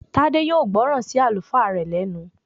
Tádé yóò gbọ́ràn sí Àlùfáà rẹ̀ lẹ́nu